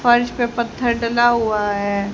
फर्श पे पत्थर डला हुआ है।